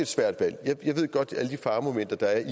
svært valg jeg kender godt til alle de faremomenter der